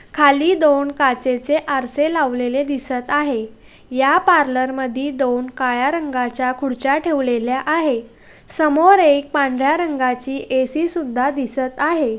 खाली दोन काचेचे आरशे लावलेले दिसत आहे या पार्लर मदी दोन काळ्या रंगाच्या खुर्च्या ठेवलेल्या आहे समोर एक पांढऱ्या रंगाची ए_सी सुद्धा दिसत आहे.